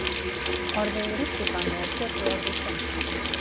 Orðið rússíbani er tökuorð úr dönsku.